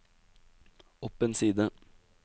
opp en side